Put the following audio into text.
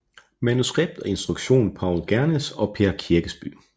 Manuskript og instruktion Paul Gernes og Per Kirkeby